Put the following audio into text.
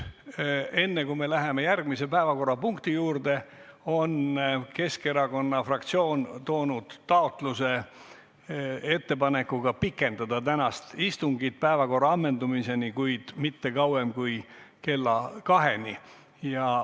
Enne kui me läheme järgmise päevakorrapunkti juurde, ütlen, et Keskerakonna fraktsioon on toonud taotluse pikendada tänast istungit päevakorra ammendumiseni, kuid mitte kauem kui kella kaheni.